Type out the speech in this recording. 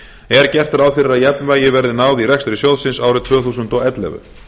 er gert ráð fyrir að jafnvægi verði náð í rekstri sjóðsins árið tvö þúsund og ellefu